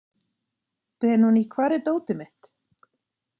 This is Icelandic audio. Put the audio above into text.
Benóný, hvar er dótið mitt?